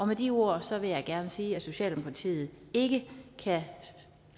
med de ord vil jeg gerne sige at socialdemokratiet ikke kan